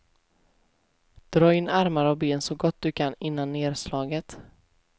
Dra in armar och ben så gott du kan innan nerslaget.